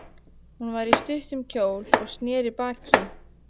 Hún var í stuttum kjól og sneri baki í